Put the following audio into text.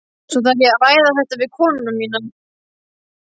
Svo þarf ég að ræða þetta við konuna mína.